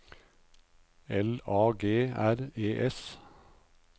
L A G R E S